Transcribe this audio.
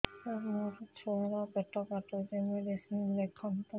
ସାର ମୋର ଛୁଆ ର ପେଟ କାଟୁଚି ମେଡିସିନ ଲେଖନ୍ତୁ